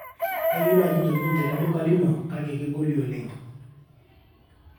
kayieu naaji ntokitin tele duka lino kake kegoli oleng